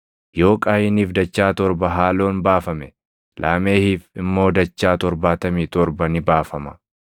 Yoo Qaayiniif dachaa torba haaloon baafame Laamehiif immoo dachaa torbaatamii torba ni baafama.”